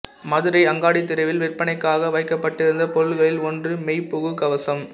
மதுரை அங்காடித் தெருவில் விற்பனைக்காக வைக்கப்பட்டிருந்த பொருள்களில் ஒன்று மெய்புகு கவசம்